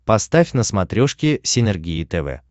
поставь на смотрешке синергия тв